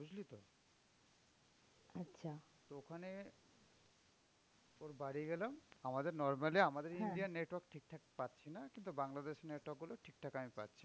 তো ওখানে ওর বাড়ি গেলাম আমাদের normally আমাদের India র network ঠিকঠাক পাচ্ছি না। কিন্তু বাংলাদেশের network গুলো ঠিকঠাক আমি পাচ্ছি।